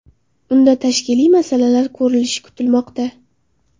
Unda tashkiliy masalalar ko‘rilishi kutilmoqda.